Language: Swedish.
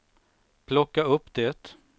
plocka upp det